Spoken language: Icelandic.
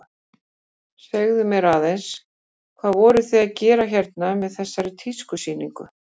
Segðu mér aðeins, hvað voruð þið að gera hérna með þessari tískusýningu?